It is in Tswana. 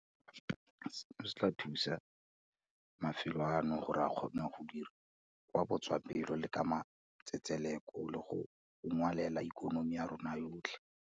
Seno se tla thusa mafelo ano gore a kgone go dira ka botswapelo le ka matsetseleko le go unngwela ikonomi ya rona yotlhe.